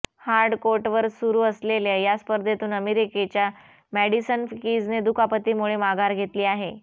hard कोर्टवर सुरू असलेल्या या स्पर्धेतून अमेरीकेच्या मॅडिसन किजने दुखापतीमुळे माघार घेतली आहे